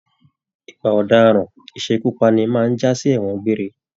Ìwà ọdaràn isekupani máa n jasi ẹwọn gbéré.